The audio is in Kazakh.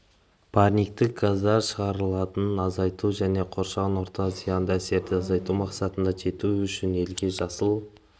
парниктік газдар шығарындыларын азайту және қоршаған ортаға зиянды әсерді азайту мақсаттарына жету үшін елге жасыл